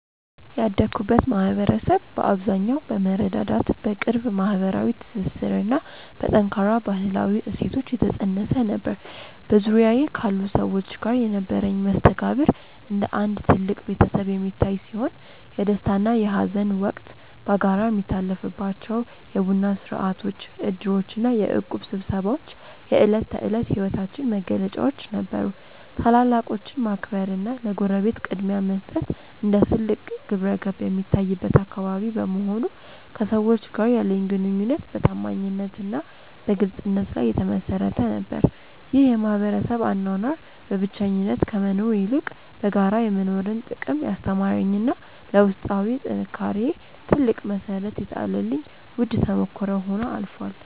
ያደግኩበት ማኅበረሰብ በአብዛኛው በመረዳዳት፣ በቅርብ ማኅበራዊ ትስስርና በጠንካራ ባሕላዊ እሴቶች የታነፀ ነበር። በዙሪያዬ ካሉ ሰዎች ጋር የነበረኝ መስተጋብር እንደ አንድ ትልቅ ቤተሰብ የሚታይ ሲሆን፣ የደስታና የሐዘን ወቅት በጋራ የሚታለፍባቸው የቡና ሥርዓቶች፣ ዕድሮችና የእቁብ ስብሰባዎች የዕለት ተዕለት ሕይወታችን መገለጫዎች ነበሩ። ታላላቆችን ማክበርና ለጎረቤት ቅድሚያ መስጠት እንደ ትልቅ ግብረገብ የሚታይበት አካባቢ በመሆኑ፣ ከሰዎች ጋር ያለኝ ግንኙነት በታማኝነትና በግልጽነት ላይ የተመሠረተ ነበር። ይህ የማኅበረሰብ አኗኗር በብቸኝነት ከመኖር ይልቅ በጋራ የመኖርን ጥቅም ያስተማረኝና ለውስጣዊ ጥንካሬዬ ትልቅ መሠረት የጣለልኝ ውድ ተሞክሮ ሆኖ አልፏል።